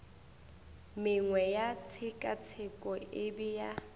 mengwe ya tshekatsheko e bea